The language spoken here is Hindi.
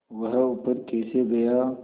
वह ऊपर कैसे गया